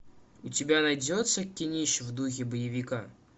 у тебя найдется кинище в духе боевика